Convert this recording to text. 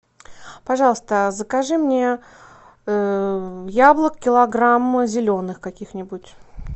пожалуйста закажи мне яблок килограмм зеленых каких нибудь